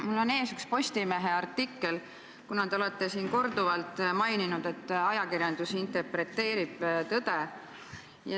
Mul on ees üks Postimehe artikkel, kuna te olete siin korduvalt maininud, et ajakirjandus interpreteerib tõde.